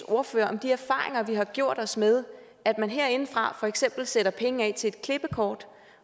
ordfører om de erfaringer vi har gjort os med at man herindefra for eksempel sætter penge af til et klippekort